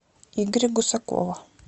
игоря гусакова